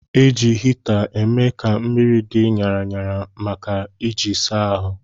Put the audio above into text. Eji hita eme ka mmiri dị ṅara ṅara maka iji saa ahụ.